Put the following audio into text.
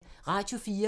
Radio 4